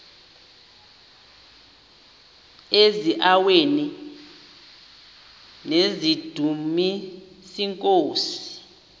eziaweni nizidumis iinkosi